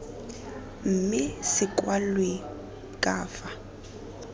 mme se kwalwe ka fa